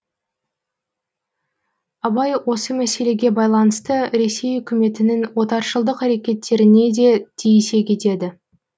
абай осы мәселеге байланысты ресей үкіметінің отаршылдық әрекеттеріне де тиісе кетеді